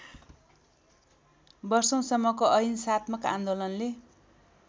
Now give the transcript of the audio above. वर्षौंसम्मको अहिंसात्मक आन्दोलनले